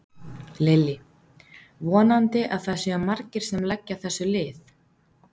Lillý: Vonandi að það séu margir sem leggja þessu lið?